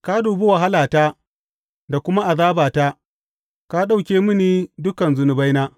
Ka dubi wahalata da kuma azabata ka ɗauke mini dukan zunubaina.